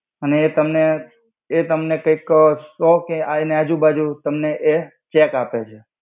અને એ તમને એ તમને કઈક સો કે હ એનિ આજુબાજુ તમને એ ચેક આપે.